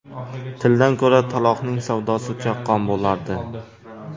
Tildan ko‘ra taloqning savdosi chaqqon bo‘lardi.